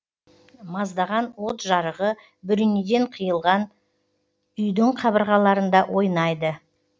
маздаған от жарығы бөренеден қиылған үйдің қабырғаларында ойнайды